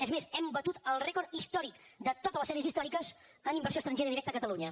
és més hem batut el rècord històric de tota les sèries històriques en inversió estrangera directa a catalunya